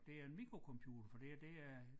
Det er en mikrocomputer for det her det er